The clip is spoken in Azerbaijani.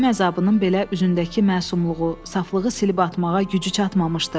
Ölüm əzabının belə üzündəki məsumluğu, saflığı silib atmağa gücü çatmamışdı.